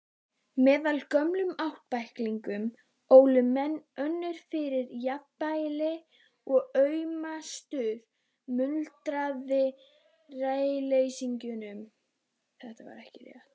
Meðal gömlu ættbálkanna ólu menn önn fyrir jafnvel aumustu munaðarleysingjum.